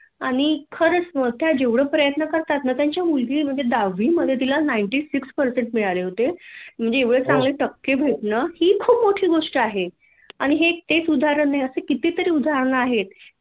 आणि खरचं त्या जेवढे प्रयत्न करतात ना त्याची मुलगा म्हणजे दहावीमधे तिला श्हयानव टक्के मिळाले होते म्हणजे एवढे चांगले टक्के भेटण की खूप मोठी गोष्ट आहे आणि ते तेच उदाहरण नाही अशी कितीतरी उदाहरणं आहेत